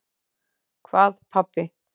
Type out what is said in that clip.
Hvað pabbi?